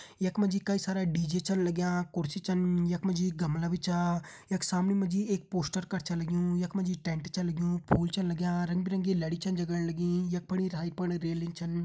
यख मा जी कई सारा डी.जे छन लग्यां कुर्सी छन यख मा जी गमला भी छा यख सामणे मा जी एक पोस्टर कर छ लग्युं यख मा जी टेंट छा लग्युं फूल छन लग्यां रंग बिरंगी लड़ी छन जगण लगीं यख फणी फण रेलिंग छन।